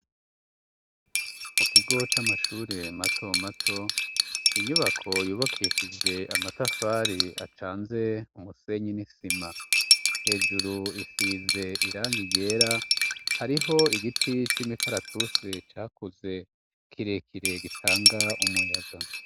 Mu kigo c'amashure matomato, inyubako yubakishijwe amatafari acanze umusenyi n'isima. Hejuru isize irangi ryera, hariho igiti c'imikaratusi cakuze kirekire gitanga umuyaga.